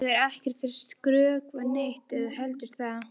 Ég er ekkert að skrökva neitt ef þú heldur það.